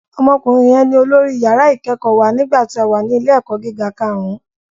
Ọmọkùnrin yẹn ní olórí yàrá ìkẹ́kọ̀ọ́ wa nígbà tí a wà ní ilé ẹ̀kọ́ gíga karùn-ún